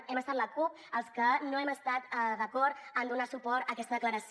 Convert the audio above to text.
hem estat la cup els que no hem esta d’acord en donar suport a aquesta declaració